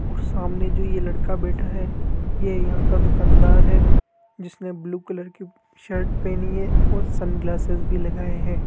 और सामने जो यह लड़का बैठा है ये यहां का दुकानदार है जिसने ब्लू कलर की शर्ट पहनी है और सनग्लासेस भी लगाए हैं।